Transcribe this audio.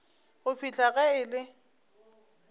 go fihla ge e le